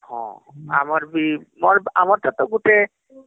ହଁ ଆମର ବି ମୋର ବି ହମ୍ଆମର ବି ଗୁଟେ